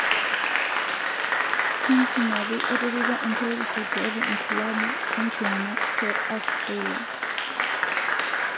Tindi napi etipika enkuretisho tiatua enkilabu enkiyama te Australia.